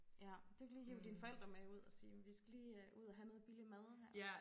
Ja du kan lige hive dine forældre med ud og sige vi skal lige ud og have noget billig mad her